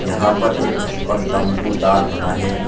यहां पर एक छप्पर तंबूदार बना है।